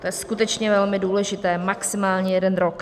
To je skutečně velmi důležité, maximálně jeden rok.